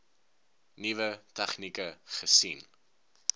nuwe tegnieke gesien